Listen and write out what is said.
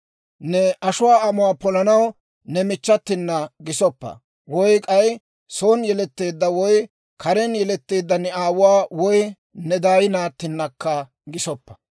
« ‹Ne ashuwaa amuwaa polanaw ne michchatina gisoppa; woy k'ay son yeletteedda woy karen yeletteedda ne aawuwaa woy ne daay naattinakka gisoppa.